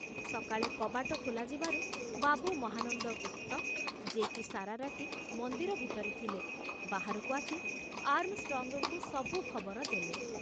ସକାଳେ କବାଟ ଖୋଲାଯିବାରୁ ବାବୁ ମହାନନ୍ଦ ଗୁପ୍ତ, ଯେ କି ସାରାରାତି ମନ୍ଦିର ଭିତରେ ଥିଲେ, ବାହାରକୁ ଆସି ଆର୍ମଷ୍ଟ୍ରଙ୍ଗଙ୍କୁ ସବୁ ଖବର ଦେଲେ।